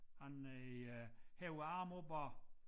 Han øh hæver æ arme opad